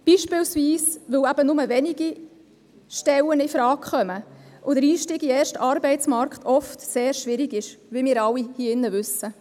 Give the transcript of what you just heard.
Dies unter anderem deshalb, weil eben nur wenige Stellen infrage kommen und der Einstieg in den ersten Arbeitsmarkt oft sehr schwierig ist, wie wir alle hier im Saal wissen.